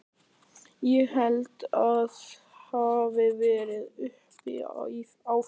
Ég held að það hafi verið uppi á fjallinu.